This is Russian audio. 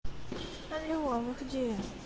алло вы где